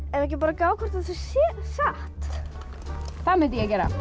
ekki að gá hvort þetta sé satt það mundi ég gera